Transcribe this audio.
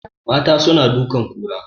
Mata suna dukan kura